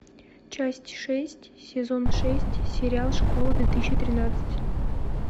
часть шесть сезон шесть сериал школа две тысячи тринадцать